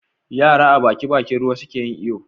Yara a Baki Bakin ruwa suke yin iyo